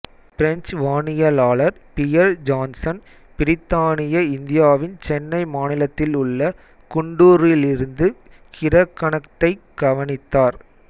French வானியலாளர் Pierre Janssen பிரித்தானிய இந்தியாவின் சென்னை மாநிலத்தில் உள்ள குண்டூரிலிருந்து கிரகணத்தைக் கவனித்தார்